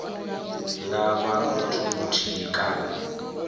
nga vha muthu muthihi kana